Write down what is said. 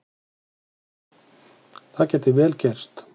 Það gæti vel gerst